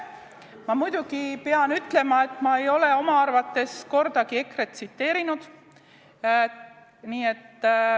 Ma muidugi pean ütlema, et ma ei ole oma arvates kordagi EKRE-t tsiteerinud.